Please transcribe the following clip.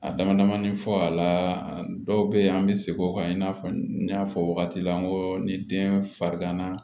A dama damani fɔ a la dɔw be yen an be segin o kan i n'a fɔ n y'a fɔ wagati la n ko ni den fariganna